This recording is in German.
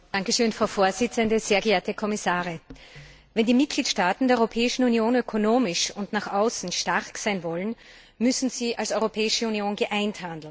Frau Präsidentin, sehr geehrte Kommissare! Wenn die Mitgliedstaaten der Europäischen Union ökonomisch und nach außen stark sein wollen, müssen sie als Europäische Union geeint handeln.